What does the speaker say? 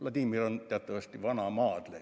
Vladimir on teatavasti vana maadleja.